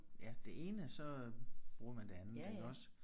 Ja det ene så bruger man det andet iggås